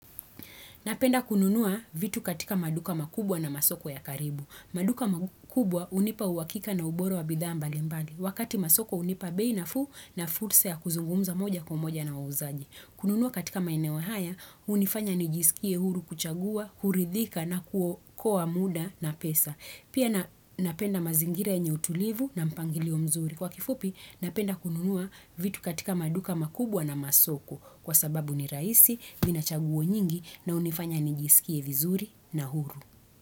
Napenda kununua vitu katika maduka makubwa na masoko ya karibu. Maduka makubwa unipa uwakika na uboru wa bidhaa mbali mbali. Wakati masoko unipa bei nafuu na fursa ya kuzungumza moja kumoja na uuzaji. Kununua katika maine wahaya, unifanya nijisikie huru kuchagua, huridhika na kuo kua muda na pesa. Pia napenda mazingira enye utulivu na mpangili omzuri. Kwa kifupi, napenda kununua vitu katika maduka makubwa na masoko. Kwa sababu ni raisi, vina chaguo nyingi na unifanya nijisikie vizuri na huru.